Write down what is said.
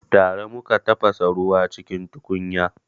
Tare muka tafasa ruwa cikin tukunya